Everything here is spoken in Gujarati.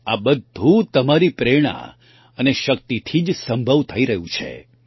આ બધું તમારી પ્રેરણા અને શક્તિથી જ સંભવ થઈ શક્યું છે